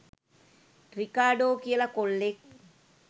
Ricardo කියලා කොල්ලෙක්.